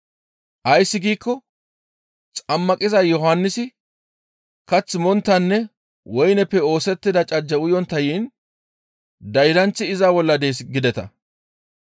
Ays giikko Xammaqiza Yohannisi kath monttanne woyneppe oosettida cajje uyontta yiin, ‹Daydanththi iza bolla dees› gideta.